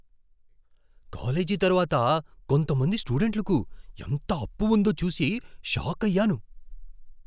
College తర్వాత కొంతమంది స్టూడెంట్లకు ఎంత అప్పు ఉందో చూసి షాకయ్యాను.